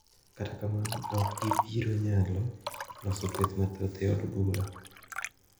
Kata kamano okgibiro nyalo loso kweth mathoth e od bura.